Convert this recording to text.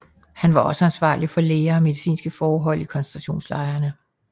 Han var også ansvarlig for læger og medicinske forhold i koncentrationslejrene